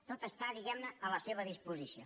tot està diguem·ne a la seva disposició